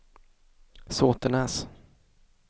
Såtenäs